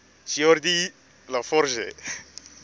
geordi la forge